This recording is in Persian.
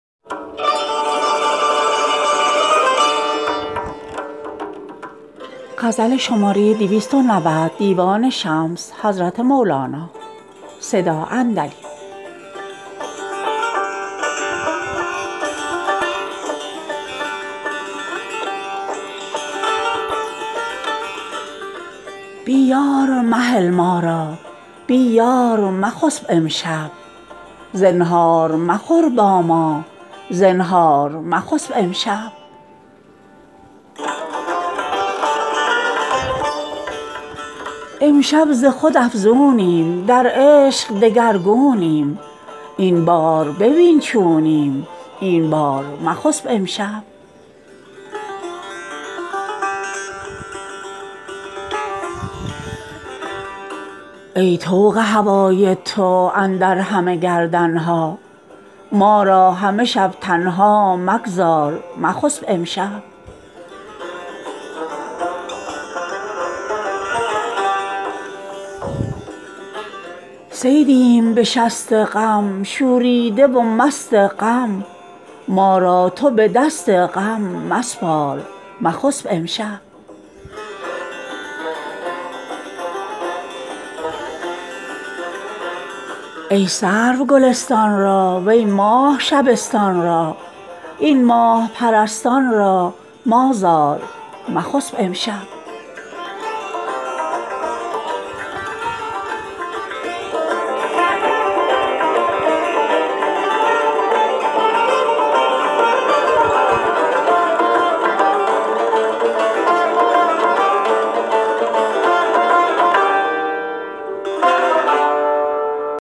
بی یار مهل ما را بی یار مخسب امشب زنهار مخور با ما زنهار مخسب امشب امشب ز خود افزونیم در عشق دگرگونیم این بار ببین چونیم این بار مخسب امشب ای طوق هوای تو اندر همه گردن ها ما را همه شب تنها مگذار مخسب امشب صیدیم به شست غم شوریده و مست غم ما را تو به دست غم مسپار مخسب امشب ای سرو گلستان را وی ماه شبستان را این ماه پرستان را مازار مخسب امشب